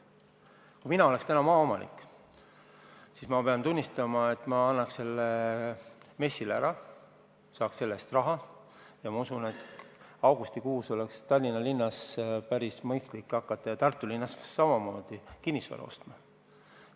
Ma pean tunnistama, et kui mina oleks täna maaomanik, siis ma annaks selle MES-ile ära, saaks selle eest raha ja usun, et augustikuus oleks Tallinna linnas ja samamoodi Tartu linnas päris mõistlik hakata kinnisvara ostma.